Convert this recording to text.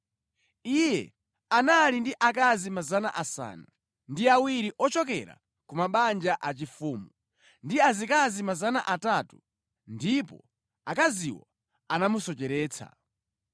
Iye anali ndi akazi 700 ochokera ku mabanja achifumu ndi azikazi 300 ndipo akaziwo anamusocheretsa.